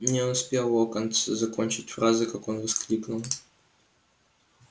не успел локонс закончить фразы как он воскликнул